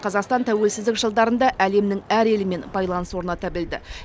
қазақстан тәуелсіздік жылдарында әлемнің әр елімен байланыс орната білді